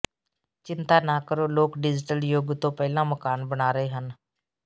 ਚਿੰਤਾ ਨਾ ਕਰੋ ਲੋਕ ਡਿਜੀਟਲ ਯੁਗ ਤੋਂ ਪਹਿਲਾਂ ਮਕਾਨ ਬਣਾ ਰਹੇ ਸਨ